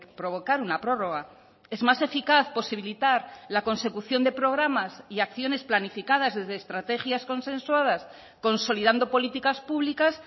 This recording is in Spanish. provocar una prórroga es más eficaz posibilitar la consecución de programas y acciones planificadas desde estrategias consensuadas consolidando políticas públicas